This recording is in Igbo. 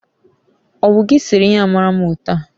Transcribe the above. owu gi sere ihe a mara mma otu a?